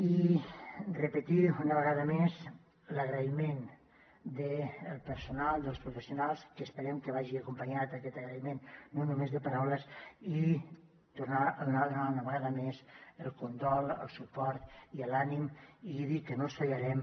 i repetir una vegada més l’agraïment al personal als professionals que esperem que vagi acompanyat aquest agraïment no només de paraules i tornar a donar una vegada més el condol el suport i l’ànim i dir que no els fallarem